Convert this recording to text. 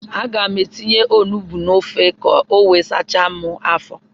Aga m etinye onugbu n'ofe ka o wee sachaa m afọ.